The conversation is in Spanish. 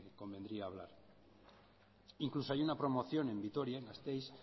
que convendría hablar incluso hay una promoción en vitoria gasteiz